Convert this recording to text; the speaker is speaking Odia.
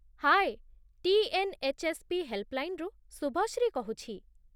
ହାଏ ! ଟି.ଏନ୍.ଏଚ୍.ଏସ୍.ପି. ହେଲ୍ପଲାଇନ୍‌ରୁ ଶୁଭଶ୍ରୀ କହୁଛି